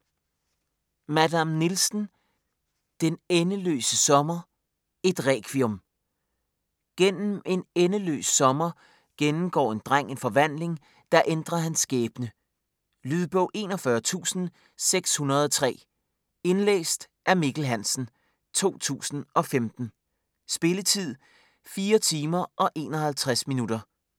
Madame Nielsen: Den endeløse sommer: et requiem Gennem en endeløs sommer gennemgår en dreng en forvandling, der ændrer hans skæbne. Lydbog 41603 Indlæst af Mikkel Hansen, 2015. Spilletid: 4 timer, 51 minutter.